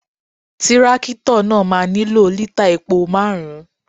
Tírákìtọ̀ náà máa nílò lítày epo márùn-ún.